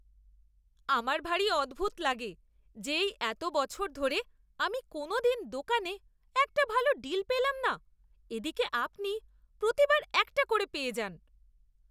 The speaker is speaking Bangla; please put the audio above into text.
আমার ভারী অদ্ভুত লাগে যে এই এতো বছর ধরে আমি কোনোদিন দোকানে একটা ভালো ডিল পেলাম না এদিকে আপনি প্রতিবার একটা করে পেয়ে যান!